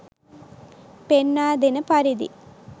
පෙන්වා දෙන පරිදි